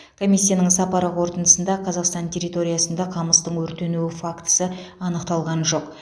комиссияның сапары қорытындысында қазақстан территориясында қамыстың өртенуі фактісі анықталған жоқ